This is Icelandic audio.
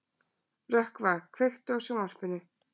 Rökkva, kveiktu á sjónvarpinu.